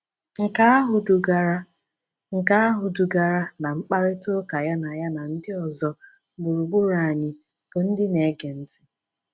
Nke ahụ dugara Nke ahụ dugara ná mkparịta ụka ya na ya na ndị ọzọ gburugburu anyị bụ ndị na-ege ntị.